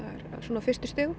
á fyrstu stigum